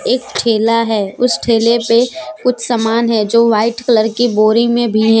एक ठेला है। उस ठेले पे कुछ सामान है जो वाइट कलर की बोरी में भी है ।